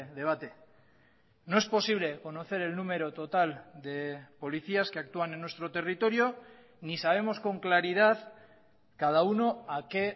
debate no es posible conocer el número total de policías que actúan en nuestro territorio ni sabemos con claridad cada uno a qué